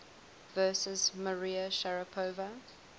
versus maria sharapova